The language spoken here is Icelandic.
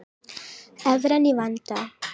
Evran í vanda